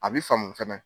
A bi faamu fɛnɛ